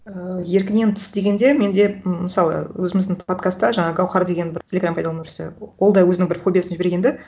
ыыы еркінен тыс дегенде менде мысалы өзіміздің подкастта жаңа гауһар деген бір телеграм пайдаланушысы ол да өзінің бір фобиясын жіберген да